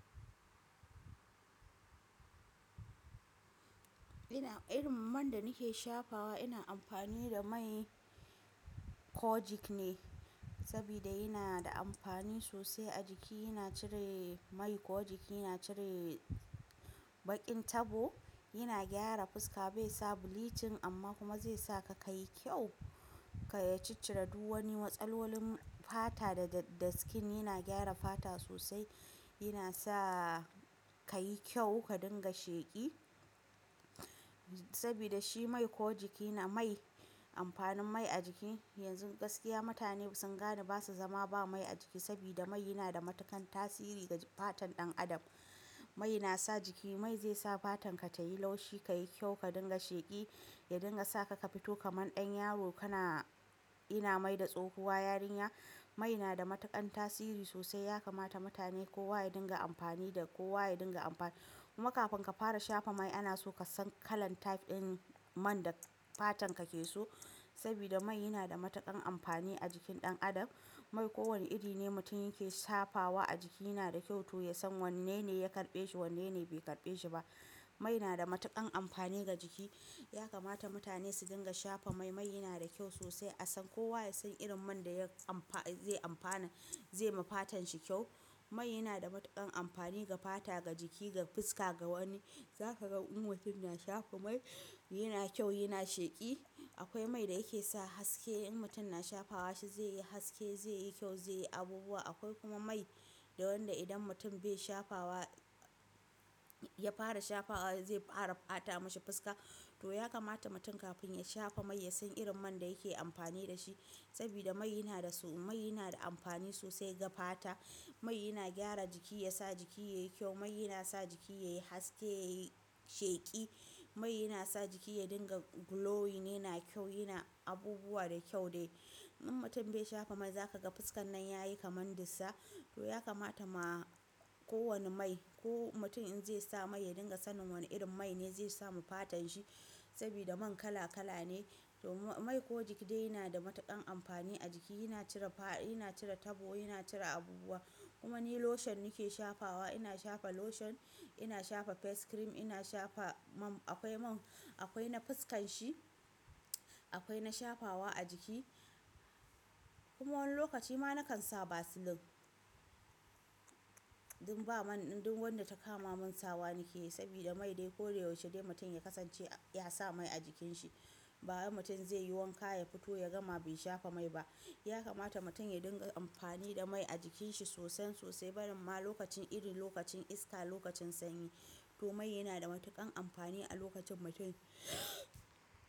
Ina irin man da nake shafawa ina amfani da mai kojik ne, sabida yana da amfani sosai a jiki. Yana cire mai kojik, yana cire baƙin tabo, yana gyara fuska bai sa bulitin amma kuma zai sa ka kayi kyau, ka ya ciccire duk wani matsalolin fata da, da skin. Yana gyara fata sosai, yana sa ka yi kyau, ka dinga sheƙi. Sabida shi mai kojik yana mai amfanin mai a jiki. Yanzu gaskiya mutane sun gane basa zama ba mai a jiki, sabida mai yana da matakan tasiri ga fatan ɗan adam. Mai nasa jiki, mai zai sa fatan ka tayi laushi, kayi kyau, ka dinga sheƙi, ya dinga sa ka fito kamar ɗan yaro. Kana ina mai da tsokuwa yarinya. Mai nada matakan tasiri sosai, ya kamata mutane kowa ya dinga amfani da kowa ya dinga amfani. Kuma kafin ka fara shafa mai ana so ka san kalan tag ɗin man da fatan ka ke so. Sabida mai yana da matakan amfani a jikin ɗan Adam. Mai ko wane iri ne mutum yake shafawa a jiki yana da kyau. To ya san wanne ne ya karɓe shi, wanne ne bai karɓe shi ba. Mai yana da matakan amfani ga jiki. Ya kamata mutane su dinga shafa mai. Mai yana da kyau sosai. A san kowa ya san irin man da ya amfa-- zai amfana, zai ma fatan shi kyau. Mai yana da matakan amfani ga fata, ga jiki, ga fuska, ga wani. Za ka ga inuf na shafa mai, yana kyau, yana sheƙi. Akwai mai da yake sa haske in mutum na shafawa shi zai yi haske, zai yi kyau, zai yi abubuwa. Akwai kuma mai da wanda idan mutum bai shafawa, ya fara shafawa zai fara ɓata mashi fuska. To ya kamata mutum kafin ya shafa mai ya san irin man da yake amfani da shi. Sabida mai yana da su, mai yana da amfani sosai ga fata. Mai yana gyara jiki, ya sa jiki yayi kyau. Mai yana sa jiki yayi haske, yayi sheƙi. Mai yana sa jiki ya dinga glowing, yana kyau, yana abubuwa da kyau dai. In mutum bai shafa mai za ka ga fuskan nan yayi kaman dissa. To ya kamata ma ko wani mai, ko mutum in zai sa mai ya dinga sanin wani irin mai ne zai samu fatan shi. Sabida man kala kala ne. To mai kojik dai yana da matakan amfani a jiki. Yana cire fa, yana cire tabo, yana cire abubuwa. Kuma ni lotion nake shafawa. Ina shafa lotion, ina shafa face cream, ina shafa man, akwai man, akwai na fuskan shi, akwai na shafawa a jiki. Kuma wani lokaci ma nakan sa vaseline. Don ba man, don wanda ta kama mun sawa nakeyi. Sabida mai dai ko da yaushe dai mutum ya kasance ya sa mai a jikin shi. Ba wani mutum zai yi wanka ya fito ya gama bai shafa mai ba. Ya kamata mutum ya dinga amfani da mai a jikin shi sosai sosai. Balam ma lokacin irin lokacin iska, lokacin sanyi. To mai yana da matakan amfani a lokacin mutum.